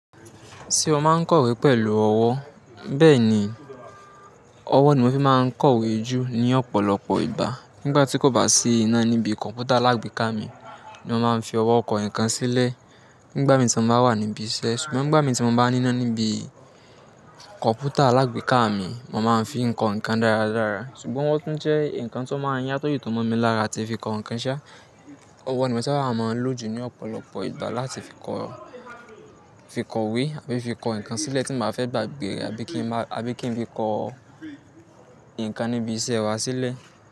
Ṣé o máa ń kọ̀wé pẹ̀lú ọwọ́? Bẹ́ẹ̀ni, ọwọ́ ni mo fi máa ń kọ̀wé jù ní ọ̀pọ̀lọpọ̀ ìgbà. Nígbà tí kò bá sí iná níbi kọ̀npútà alágbèéká mi ni mo máa ń fi ọwọ́ kọ nǹkan sílẹ̀ nígbà mi tí mo bá wà níbi iṣẹ́. Ṣùgbọ́n nígbà mi tí mo bá ní iná níbi kọ̀npútà alágbèéká mi, mo máa ń fi kọ nǹkan dáradára. Ṣùgbọ́n ọwọ́ tún jẹ́ nǹkan tó máa ń Yan tó sì tùn mọ́ mi lára àti fi kọ nǹkan ṣá. Ọwọ́ ni mo sáabà mọ lò jù ní ọ̀pọ̀lọpọ̀ ìgbà láti fi kọ̀, fi kọ̀wé àbi fi kọ nǹkan sílẹ̀ tí mbá fẹ́ gbàgbé rẹ̀ àbí kí n má, àbí kí n fi kọ nǹkan níbi iṣẹ́ wa sílẹ̀.